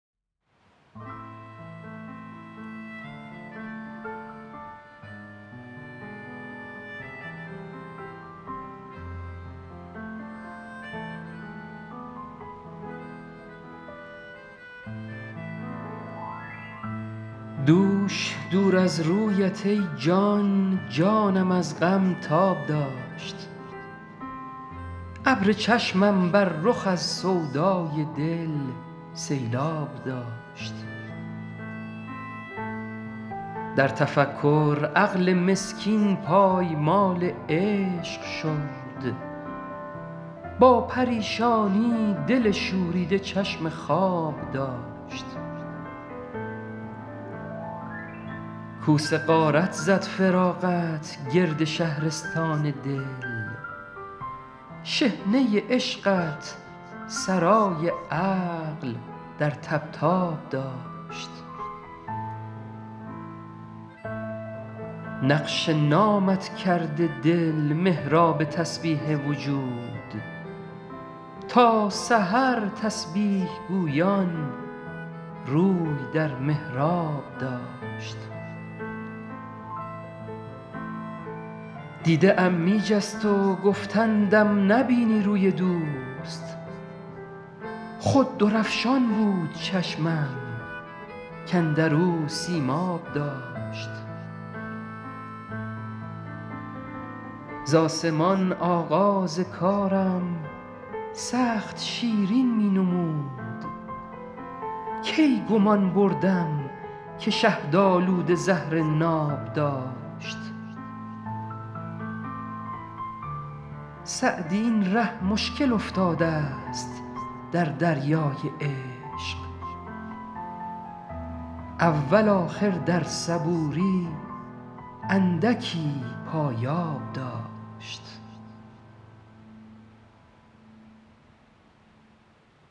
دوش دور از رویت ای جان جانم از غم تاب داشت ابر چشمم بر رخ از سودای دل سیلآب داشت در تفکر عقل مسکین پایمال عشق شد با پریشانی دل شوریده چشم خواب داشت کوس غارت زد فراقت گرد شهرستان دل شحنه عشقت سرای عقل در طبطاب داشت نقش نامت کرده دل محراب تسبیح وجود تا سحر تسبیح گویان روی در محراب داشت دیده ام می جست و گفتندم نبینی روی دوست خود درفشان بود چشمم کاندر او سیماب داشت ز آسمان آغاز کارم سخت شیرین می نمود کی گمان بردم که شهدآلوده زهر ناب داشت سعدی این ره مشکل افتادست در دریای عشق اول آخر در صبوری اندکی پایاب داشت